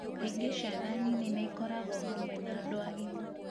Kaingĩ ciana nini nĩ ikoragwo hamwe na andũ agima,